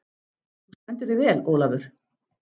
Þú stendur þig vel, Olavur!